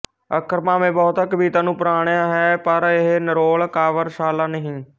ਅੱਖਰ ਭਾਵੇਂ ਬਹੁਤਾ ਕਵਿਤਾ ਨੂੰ ਪ੍ਰਣਾਇਆ ਹੈ ਪਰ ਇਹ ਨਿਰੋਲ ਕਾਵਿਰਸਾਲਾ ਨਹੀਂ